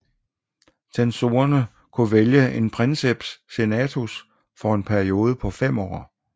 Censorerne kunne vælge en princeps senatus for en periode på fem år